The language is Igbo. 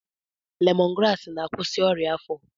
Lemọn graasị na-akwụsị ọrịa afọ.